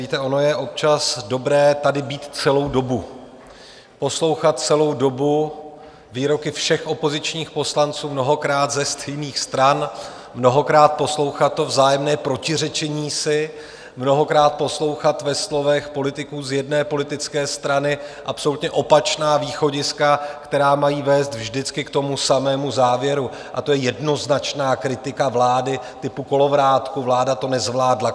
Víte, ono je občas dobré tady být celou dobu, poslouchat celou dobu výroky všech opozičních poslanců, mnohokrát ze stejných stran, mnohokrát poslouchat to vzájemné protiřečení si, mnohokrát poslouchat ve slovech politiků z jedné politické strany absolutně opačná východiska, která mají vést vždycky k tomu samému závěru, a to je jednoznačná kritika vlády typu kolovrátku - vláda to nezvládla.